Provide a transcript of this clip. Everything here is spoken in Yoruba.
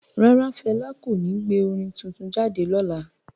Rara, Fẹla ko ní gbé orin tuntun jáde lọla